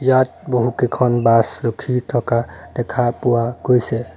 ইয়াত বহুকেইখন বাছ ৰখি থকা দেখা পোৱা গৈছে।